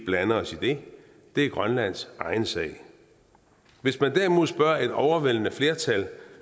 blande os i det det er grønlands egen sag hvis man derimod spørger et overvældende flertal